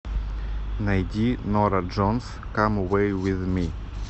найди нора джонс кам эвэй виз ми